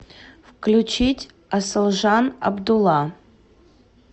включить асылжан абдулла